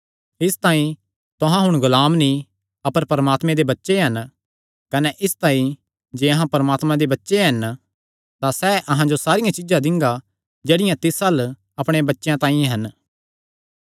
इसतांई तुहां हुण गुलाम नीं अपर परमात्मे दे बच्चे हन कने इसतांई जे अहां परमात्मे दे बच्चे हन तां सैह़ अहां जो सारियां चीज्जां दिंगा जेह्ड़ियां तिस अल्ल अपणे बच्चेयां तांई हन